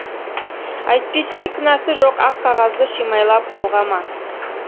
әйтпесе кінәсі жоқ ақ қағазды шимайлап былғама